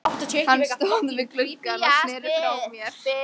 Hann stóð við gluggann og sneri frá mér.